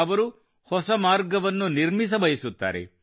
ಅವರು ಹೊಸ ಮಾರ್ಗವನ್ನು ನಿರ್ಮಿಸಬಯಸುತ್ತಾರೆ